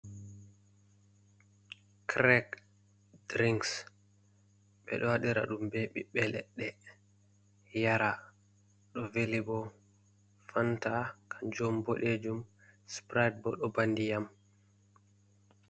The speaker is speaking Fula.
Craik drinks bedo wadira ɗum ɓe bibbe ledde yara ɗo veli, bo fanta kajom bodejum sprid boo do bandiyam.